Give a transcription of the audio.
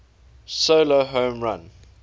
solo home run